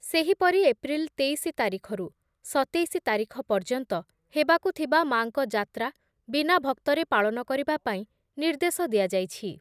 ସେହିପରି ଏପ୍ରିଲ୍ ତେଇଶି ତାରିଖରୁ ସତେଇଶି ତାରିଖ ପର୍ଯ୍ୟନ୍ତ ହେବାକୁ ଥିବା ମା’ଙ୍କ ଯାତ୍ରା ବିନା ଭକ୍ତରେ ପାଳନ କରିବା ପାଇଁ ନିର୍ଦ୍ଦେଶ ଦିଆଯାଇଛି ।